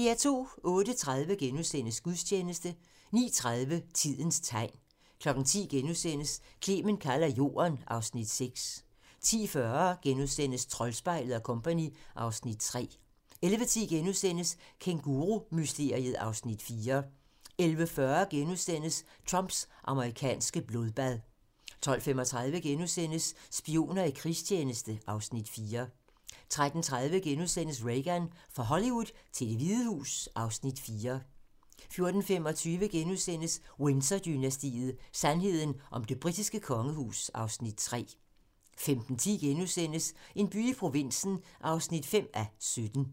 08:30: Gudstjeneste * 09:30: Tidens tegn 10:00: Clement kalder Jorden (Afs. 6)* 10:40: Troldspejlet & Co. (Afs. 3)* 11:10: Kængurumysteriet (Afs. 4)* 11:40: Trumps amerikanske blodbad * 12:35: Spioner i krigstjeneste (Afs. 4)* 13:30: Reagan - fra Hollywood til Det Hvide Hus (Afs. 4)* 14:25: Windsor-dynastiet: Sandheden om det britiske kongehus (Afs. 3)* 15:10: En by i provinsen (5:17)*